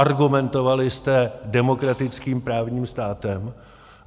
Argumentovali jste demokratickým právním státem.